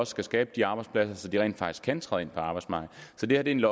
skal skabe de arbejdspladser så de rent faktisk kan træde ind på arbejdsmarkedet så det er en